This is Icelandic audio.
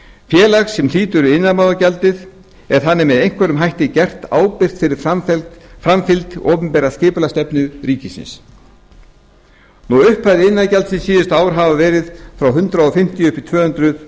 félag sem hlýtur iðnaðarmálagjaldið er þannig með einhverjum hætti gert ábyrgt fyrir framfylgd opinberrar skipulagsstefnu ríkisins upphæðir iðnaðarmálagjaldsins síðustu ár hafa verið frá hundrað fimmtíu upp í tvö hundruð